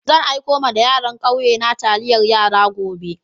Zan aiko ma yaran kauye na taliyar yara gobe.